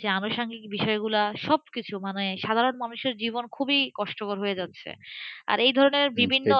যে আনুষাঙ্গিক বিষয় গুলো সবকিছুর মানে সাধারণ মানুষের জীবন খুব কষ্টকর হয়ে যাচ্ছেআর এই ধরনের বিভিন্ন